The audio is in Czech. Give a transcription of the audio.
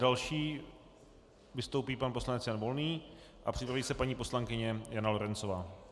Další vystoupí pan poslanec Jan Volný a připraví se paní poslankyně Jana Lorencová.